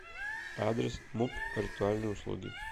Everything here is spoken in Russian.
адрес муп ритуальные услуги